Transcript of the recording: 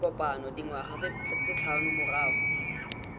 kopano dingwaga tse tlhano morago